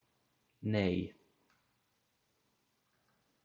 Nei